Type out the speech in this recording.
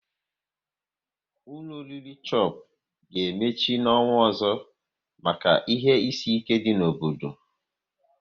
Ụlọ oriri Chopu ga emechi n'ọnwa ọzọ maka ihe isi ike dị n'obodo